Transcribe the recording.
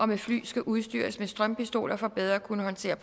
med fly skal udstyres med strømpistoler for bedre at kunne håndtere